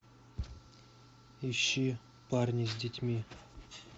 ищи парни с детьми